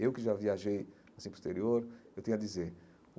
Eu que já viajei assim para o exterior, eu tenho a dizer.